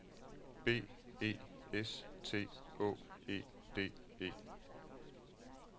B E S T Å E D E